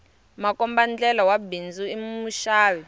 makombandlela wa bindzu i muxavi